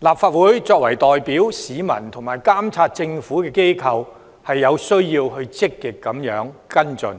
立法會作為代表市民和監察政府的機構，有需要積極跟進，